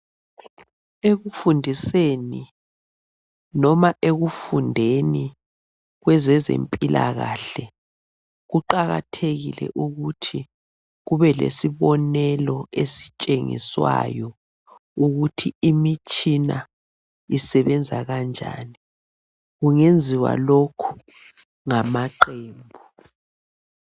Ekufundiseni, loba ekufundeni kwezezempilakahle kuqakathekile ukuthi kube lesibonelo esitshengiswayo ukuthi imitshina isebenza kanjani. Kungenziwa lokhu ngamaqembu